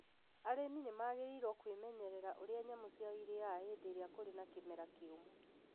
Arĩmi nĩ magĩrĩĩrũo kwĩmenyerera ũrĩa nyamũ ciao irĩaga hĩndĩ ĩrĩa kũrĩ na kimera kiumũ